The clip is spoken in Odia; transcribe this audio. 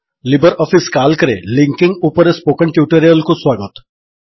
ଲିବର୍ ଅଫିସ୍ କାଲ୍କରେ ଲିଙ୍କିଙ୍ଗ୍ ଉପରେ ପ୍ସୋକନ୍ ଟ୍ୟୁଟୋରିଆଲ୍ କୁ ସ୍ୱାଗତ